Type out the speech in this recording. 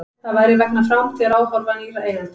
Það væri vegna framtíðaráforma nýrra eigenda